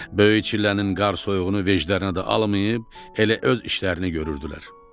Böyük çillənin qar-soyuğunu veclərinə də almayıb elə öz işlərini görürdülər.